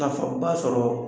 Nafaba sɔrɔ